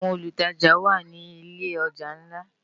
Áwòn ólútàjá wá ni ilé òjá nlá